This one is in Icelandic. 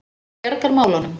Hún bjargar málunum.